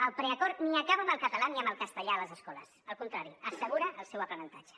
el preacord ni acaba amb el català ni amb el castellà a les escoles al contrari assegura el seu aprenentatge